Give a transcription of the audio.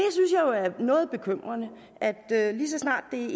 er noget bekymrende at lige så snart det